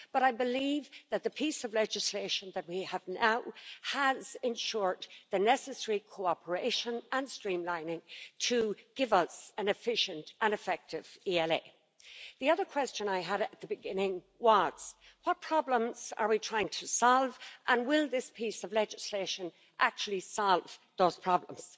But I believe that the piece of legislation that we have now has, in short, the necessary cooperation and streamlining to give us an efficient and effective ELA. The other question I had at the beginning was what problems are we trying to solve, and will this piece of legislation actually solve those problems?